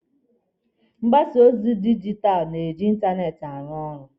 Mgbasa ozi dijitalụ na-eji ịntanetị arụ ọrụ.